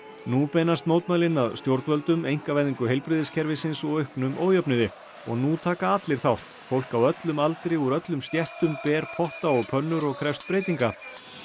nú beinast mótmælin að stjórnvöldum einkavæðingu heilbrigðiskerfisins og auknum ójöfnuði og nú taka allir þátt fólk á öllum aldri úr öllum stéttum ber potta og pönnur og krefst breytinga